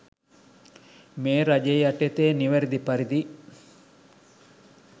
මේ රජය යටතේ නිවැරදි පරිදි